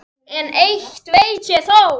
En eitt veit ég þó.